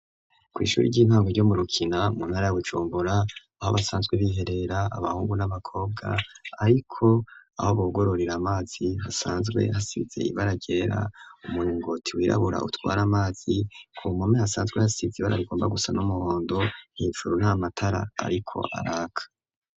Kw', ishuri ry'intango ryo mu rukina mu ntara ya Bujumbura, aho basanzwe biherera abahungu, n'abakobwa ,ariko aho bugororera amazi ,basanzwe hasize ibara ryera ,umuringoti wirabura, utwara amazi, ku mpome asanzwe hasize ibara rigomba gusa n'umuhondo, Hejuru nt ' Amatara ariko araka.